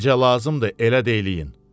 Necə lazımdır, elə də eləyin.